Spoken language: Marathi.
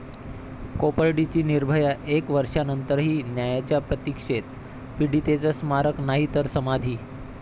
कोपर्डीची 'निर्भया' एक वर्षानंतरही न्यायाच्या प्रतिक्षेत, पीडितेचं स्मारक नाही तर समाधी!